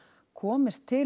komist til